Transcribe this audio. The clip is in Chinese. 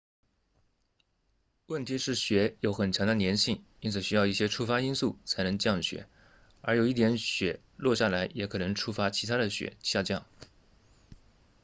问题是雪有很强的粘性因此需要一些触发因素才能降雪而有一点雪落下来也可能触发其他的雪下降